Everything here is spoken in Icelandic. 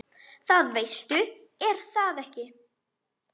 Það veistu er það ekki?